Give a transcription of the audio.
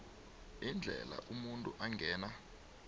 iindlela umuntu angena